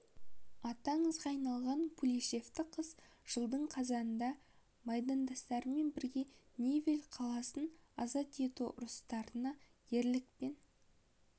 аты аңызға айналған пулеметші қыз жылдың қазанында майдандастарымен бірге невель қаласын азат ету ұрыстарында ерлікпен